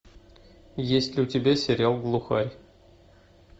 есть ли у тебя сериал глухарь